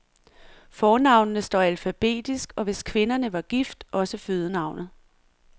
Fornavnene står alfabetisk og hvis kvinderne var gift, også fødenavnet.